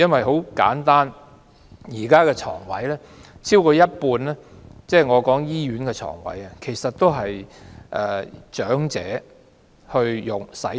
很簡單，現時超過一半的醫院床位是長者使用。